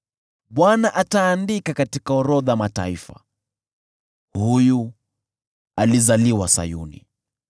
Bwana ataandika katika orodha ya mataifa: “Huyu alizaliwa Sayuni.”